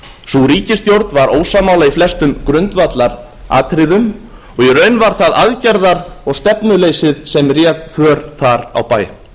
sú ríkisstjórn var ósammála í flestum grundvallaratriðum og í raun var það aðgerða og stefnuleysið sem réð för þar á bæ